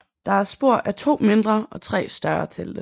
Der er spor af to mindre og tre større telte